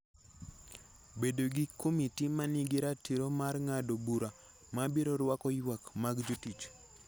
Bedo gi komiti ma nigi ratiro mar ng'ado bura ma biro rwako ywak mag jotich